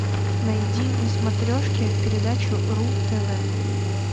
найди на смотрешке передачу ру тв